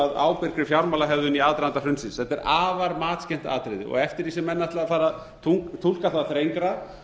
að ábyrgri fjármálahegðun í aðdraganda hrunsins þetta er afar matskennt atriði og eftir því sem menn ætla að fara að túlka það þrengra